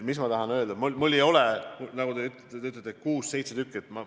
Mis ma tahan öelda?